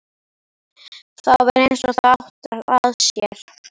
Það var eins og það átti að sér.